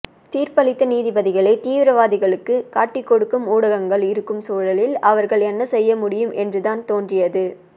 தீர்ப்பளித்த நீதிபதிகளை தீவிரவாதிகளுக்கு காட்டிக்கொடுக்கும் ஊடகங்கள் இருக்கும் சூழலில் அவர்கள் என்னசெய்யமுடியும் என்றுதான் தோன்றியது